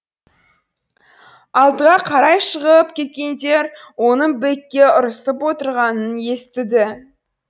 алдыға қарай шығып кеткендер оның бэкке ұрсып отырғанын естіді